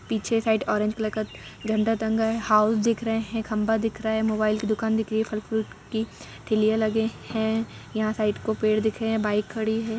पीछे side orange colour का झंडा टंगा है हाउस दिख रहे है खंभा दिख रहा हैं मोबाइल की दुकान दिख रही हैं फल फ्रूट की ठेलिया लगे है यहाँ साइड को पेड़ दिख रहे हैं बाइक खड़ी है।